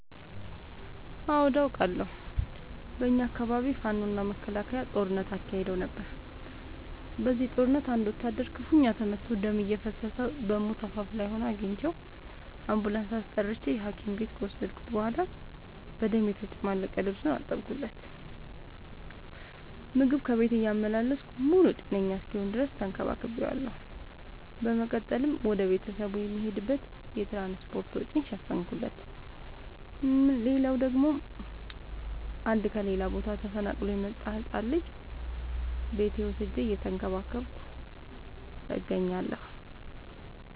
አዎድ አቃለሁ። በኛ አካባቢ ፋኖ እና መከላከያ ጦርነት አካሂደው ነበር። በዚህ ጦርነት አንድ ወታደር ክፋኛ ተመቶ ደም እየፈሰሰው በሞት አፋፍ ላይ ሆኖ አግኝቼው። አንቡላንስ አስጠርቼ ሀኪም ቤት ከወሰድከት በኋላ በደም የተጨማለቀ ልብሱን አጠብለት። ምግብ ከቤት እያመላለስኩ ሙሉ ጤነኛ እስኪሆን ተከባክ ቤዋለሁ። በመቀጠልም ወደ ቤተሰቡ የሚሄድበትን የትራንስፓርት ወጪውን ሸፈንኩለት። ሌላላው ደግሞ አንድ ከሌላ ቦታ ተፈናቅሎ የመጣን ህፃን ልጅ ቤቴ ወስጄ እየተንከባከብኩ እገኛለሁ።